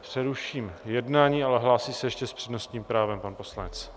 Přeruším jednání, ale hlásí se ještě s přednostním právem pan poslanec.